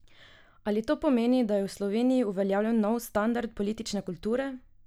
Ali to pomeni, da je v Sloveniji uveljavljen nov standard politične kulture?